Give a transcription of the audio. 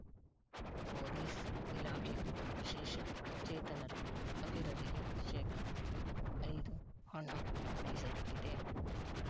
police ಇಲಾಖೆಗೂ ವಿಶೇಷ ಚೇತನರ ಅಭಿವೃದ್ಧಿಗೆ ಶೇಕಡಾ ಐದು ಹಣ ಮೀಸಲಿಟ್ಟಿದೆ